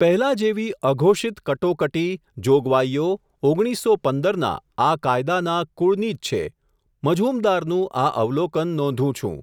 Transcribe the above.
પહેલા જેવી, અઘોષિત કટોકટી, જોગવાઈયો, ઓગણીસો પંદર ના, આ કાયદાના, કુળની જ છે, મઝુમદારનું, આ, અવલોકન, નોંધું છું.